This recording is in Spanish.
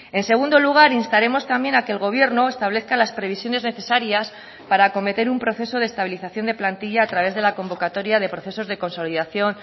en segundo lugar instaremos también a que el gobierno establezca las previsiones necesarias para acometer un proceso de estabilización de plantilla a través de la convocatoria de procesos de consolidación